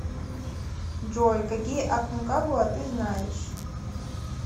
джой какие аконкагуа ты знаешь